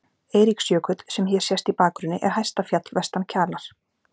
Eiríksjökull, sem hér sést í bakgrunni, er hæsta fjall vestan Kjalar.